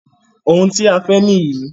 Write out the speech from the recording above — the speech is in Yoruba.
Oun tí ẹ fẹ́ nìyí.